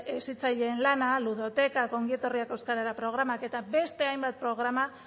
hezitzaileen lana ludotekak ongi etorriak euskarara programak eta beste hainbat programa